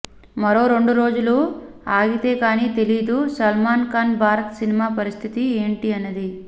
మరో రెండు రోజులు ఆగితే కానీ తెలీదు సల్మాన్ ఖాన్ భారత్ సినిమా పరిస్థితి ఏంటి అన్నది